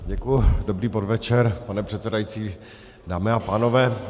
Děkuji, dobrý podvečer, pane předsedající, dámy a pánové.